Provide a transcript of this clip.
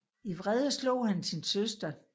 I vrede slog han sin søster